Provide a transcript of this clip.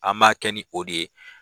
An b'a kɛ ni o de ye.